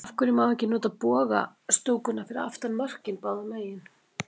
Af hverju má ekki nota boga stúkuna fyrir aftan mörkin báðu megin?